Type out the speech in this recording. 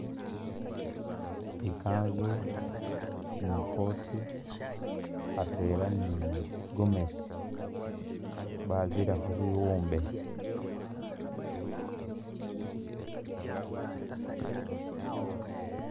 Ikanzu ni coat atwela ni gomesi babira khubiwumbe